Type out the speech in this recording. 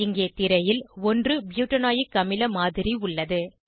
இங்கே திரையில் 1 ப்யூட்டனாயில்க அமில மாதிரி உள்ளது